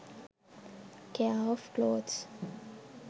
care of clothes